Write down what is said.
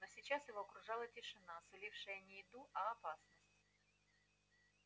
но сейчас его окружала тишина сулившая не еду а опасность